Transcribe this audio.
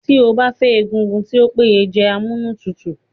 Tí o bá fẹ́ egungun tí o péye jẹ amúnútutù